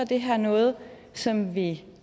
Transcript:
det her noget som vi